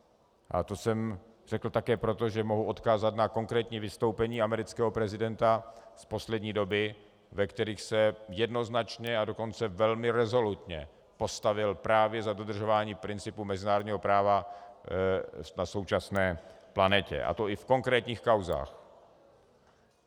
A to jsem řekl také proto, že mohu odkázat na konkrétní vystoupení amerického prezidenta z poslední doby, ve kterých se jednoznačně, a dokonce velmi rezolutně postavil právě za dodržování principu mezinárodního práva na současné planetě, a to i v konkrétních kauzách.